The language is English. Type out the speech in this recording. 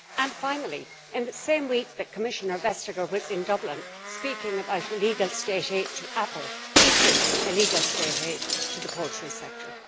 And finally, in the same week that Commissioner Vestager was in Dublin speaking about illegal staid aid to Apple, is this illegal state aid to the poultry sector?